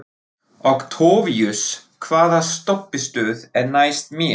Októvíus, hvaða stoppistöð er næst mér?